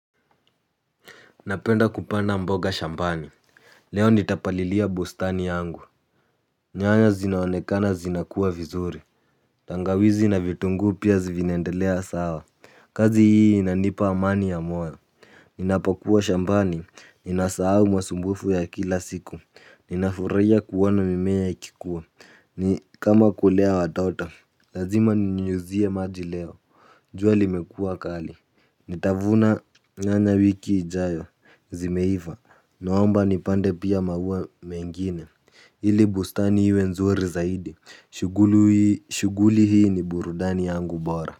Napenda kupanda mboga shambani. Leo nitapalilia bustani yangu. Nyanya zinaonekana zinakuwa vizuri. Tangawizi na vitunguu pia zi, vinaendelea sawa. Kazi hii inanipa amani ya moyo. Ninapokuwa shambani ninasahau masumbufu ya kila siku ninafurahiya kuona mimeya ikikuwa. Ni kama kulea watoto. Lazima ninyunyuzie maji leo. Juwa limekuwa kali nitavuna nyanya wiki ijayo zimeiva, noamba nipande pia mauwa mengine. Ili bustani iwe nzuri zaidi, shuguli hii ni burudani yangu bora.